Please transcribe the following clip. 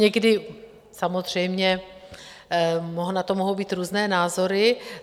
Někdy samozřejmě na to mohou být různé názory.